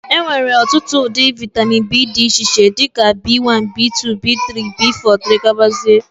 Enwere ọtụtụ ụdị vitamin B dị ka B1, B2, B3, B4 etc